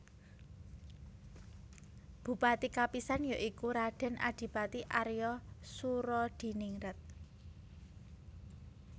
Bupati kapisan ya iku Raden Adipati Arya Soeroadiningrat